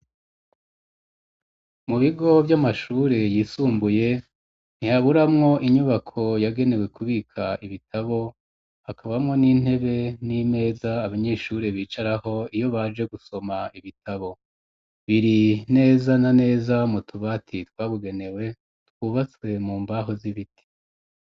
Mu bigo vy'amashuri yisumbuye ,ntihaburamwo inyubako yagenewe kubika ibitabo ,hakabamwo n'intebe n'imeza abanyeshuri bicaraho iyo baje gusoma ibitabo, biri neza na neza mu tubati twabugenewe ,twubatswe mu mbaho z'ibiti.